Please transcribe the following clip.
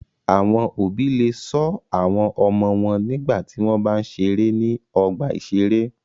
Àwọn òbí le ṣọ́ àwọn ọmọ wọn nígbà tí wọ́n bá ń ṣeré ní ọgbà-ìṣeré.